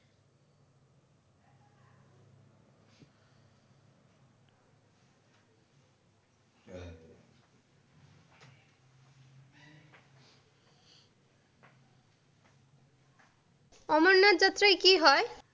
অমরনাথ যাত্ৰাই কি হয়?